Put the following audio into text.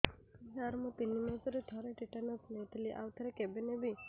ସାର ମୁଁ ତିନି ମାସରେ ଥରେ ଟିଟାନସ ନେଇଥିଲି ଆଉ ଥରେ କେବେ ନେବି